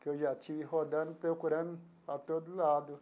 Que eu já estive rodando, procurando a todo lado.